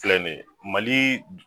Filɛ nin ye malii